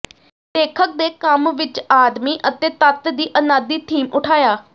ਲੇਖਕ ਦੇ ਕੰਮ ਵਿਚ ਆਦਮੀ ਅਤੇ ਤੱਤ ਦੀ ਅਨਾਦਿ ਥੀਮ ਉਠਾਇਆ